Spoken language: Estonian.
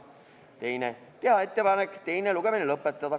Teiseks, teha ettepanek teine lugemine lõpetada.